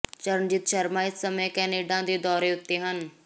ਚਰਨਜੀਤ ਸ਼ਰਮਾ ਇਸ ਸਮੇਂ ਕੈਨੇਡਾ ਦੇ ਦੌਰੇ ਉੱਤੇ ਹਨ